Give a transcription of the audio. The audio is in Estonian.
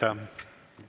Aitäh!